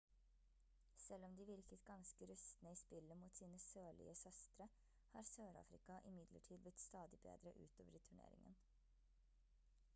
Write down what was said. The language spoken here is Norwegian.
selv om de virket ganske rustne i spillet mot sine sørlige søstre har sør-afrika imidlertid blitt stadig bedre utover i turneringen